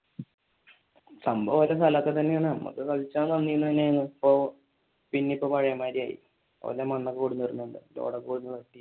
സംഭവം അവരുടെ സ്ഥലം ഒക്കെ തന്നെയാണ് നമുക്ക് കളിചാൻ ഇപ്പൊ പിന്നെ ഇപ്പൊ പഴേ മാതിരിയായി